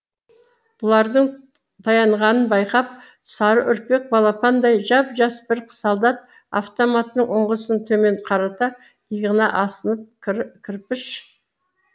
бұлардың таянғанын байқап сары үрпек балапандай жап жас бір солдат автоматының ұңғысын төмен қарата иығына асынып кір кірпіш